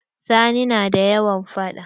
Sani na da yawan faɗa.